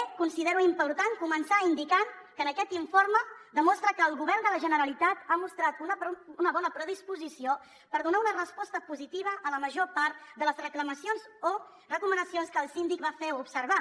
també considero important començar indicant que aquest informe demostra que el govern de la generalitat ha mostrat una bona predisposició per donar una resposta positiva a la major part de les reclamacions o recomanacions que el síndic va fer observar